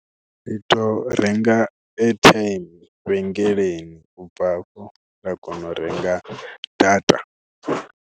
Ri tou renga airtime vhengeleni u bva afho ra kona u renga data.